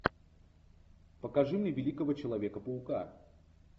покажи мне великого человека паука